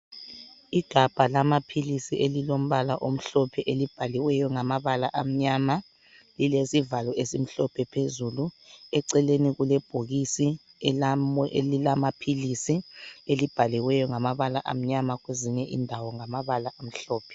Igabha lamaphilisi elilombala omhlophe elibhaliweyo ngamabala amnyama lilesivalo esimhlophe ngaphezulu eceleni kulebhokisi elilamaphilisi elibhaliweyo ngamabala amnyama kwezinye indawo ngamabala amhlophe.